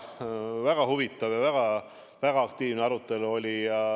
Väga huvitav ja väga aktiivne arutelu oli.